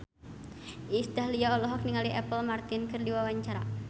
Iis Dahlia olohok ningali Apple Martin keur diwawancara